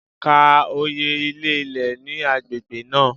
Ka oye ilé ilẹ̀ ní agbègbè náà.!